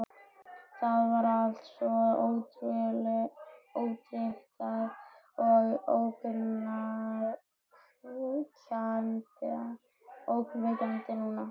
Það var allt svo ótryggt og ógnvekjandi núna.